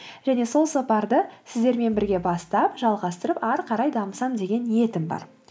және сол сапарды сіздермен бірге бастап жалғастырып ары қарай дамысам деген ниетім бар